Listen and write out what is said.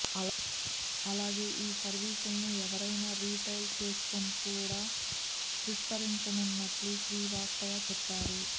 అలాగే ఈ సర్వీసులను ఎరెనా రిటైల్ చెయిన్కు కూడా విస్తరించనున్నట్టు శ్రీవాస్తవ చెప్పారు